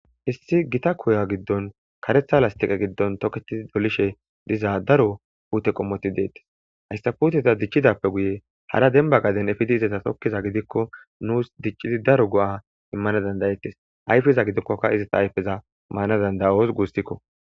Issi gita koya giddon karetha lastiqa giddon toketidi dolishe dizaa daro puute qommoti deettes hayssafuteta dichidappe guye hara denba gaden efidi izaza tokkiza gidikko nuus diccidi daro go'a immana dandayettes ayfeza gidikkoka izata ayfeza maana dandayos guustikko.